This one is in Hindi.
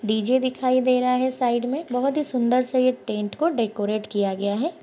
डीजे दिखाई दे रहा है साइड में बहुत ही सुंदर-सा ये टेंट को डेकोरेट किया गया हैं।